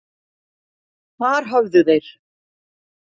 Þar höfðu þeir